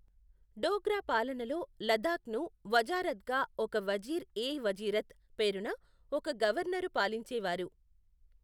డోగ్రా పాలనలో లద్దాఖ్ను వజారత్గా ఒక వజీర్ ఎ వజీరత్ పేరున ఒక గవర్నరు పాలించేవారు.